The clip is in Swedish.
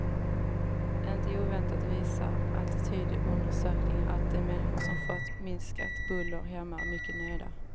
Inte oväntat visar attitydundersökningar att de människor som fått minskat buller hemma är mycket nöjda.